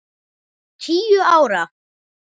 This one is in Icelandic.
Tíu ára.